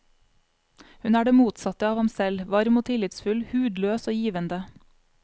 Hun er det motsatte av ham selv, varm og tillitsfull, hudløs og givende.